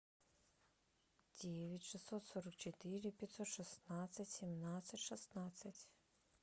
девять шестьсот сорок четыре пятьсот шестнадцать семнадцать шестнадцать